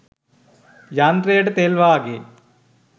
යන්ත්‍රයට තෙල් වාගේ